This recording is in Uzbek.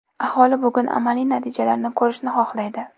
Aholi bugun amaliy natijalarni ko‘rishni xohlaydi.